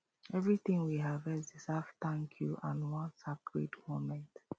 everything we harvest deserve thank you and one sacred moment